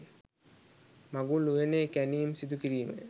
මඟුල් උයනේ කැණීම් සිදු කිරීමය.